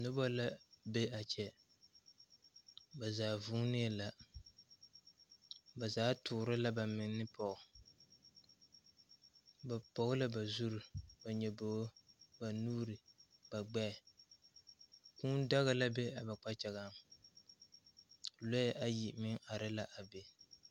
Nobɔ la be a kyɛ ba zaa vūūnee la ba zaa toore la ba manne pɔg ba pɔg la zurre ba nyobogre ba gbɛɛ kūū daga la be a ba kpakyagaŋ lɔɛ ayi meŋ are la a be.